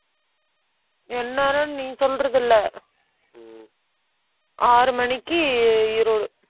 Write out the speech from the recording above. எந்நேரம் நீ சொல்றது இல்லை. ஆறு மணிக்கு, ஈரோடு